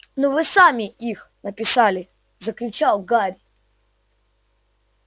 но вы сами их написали закричал гарри